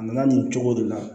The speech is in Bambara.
A nana nin cogo de la